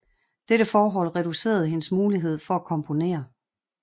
Dette forhold reducerede hendes mulighed for at komponere